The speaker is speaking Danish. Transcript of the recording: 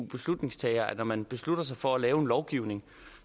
beslutningstagere at når man beslutter sig for at lave en lovgivning